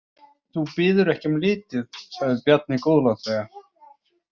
Þú biður ekki um lítið, sagði Bjarni góðlátlega.